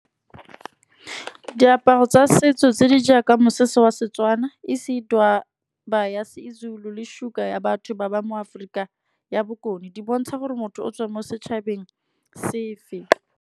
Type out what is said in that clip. Diaparo tsa setso tse di jaaka mosese wa Setswana, isidwaba ya seZulu le sugar ya batho ba ba mo Aforika ya bokone, di bontsha gore motho o tswa mo setšhabeng se fe.